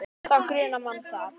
Þá grunar mann það.